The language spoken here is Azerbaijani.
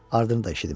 Ardını da eşitdim.